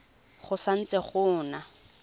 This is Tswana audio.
go sa ntse go na